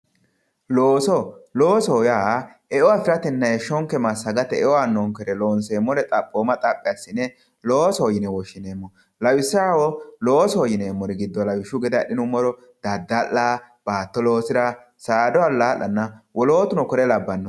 Looso, loosoho yaa eo afiratenna heeshsho massagate eo aanonkere loonseemmore xaphoma xaphi assine loosoho yinne woshshineemmo lawishshaho loosoho yineemmori giddo lawishshu gede adhinuummoro daddalla, baatto loosira, saada ala'lanna wolootuno kore labbanoreti.